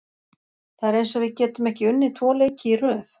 Það er eins og við getum ekki unnið tvo leiki í röð.